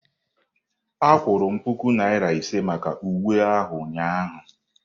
A kwụrụ m puku naira ise maka uwe ahụ ụnyahụ.